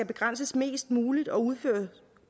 begrænses mest muligt og